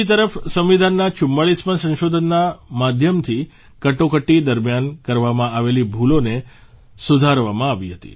બીજી તરફ સંવિધાનના 44મા સંશોધનના માધ્યમથી કટોકટી દરમ્યાન કરવામાં આવેલી ભૂલોને સુધારવામાં આવી હતી